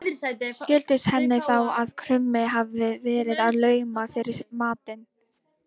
Skildist henni þá að krummi hafði verið að launa fyrir matinn.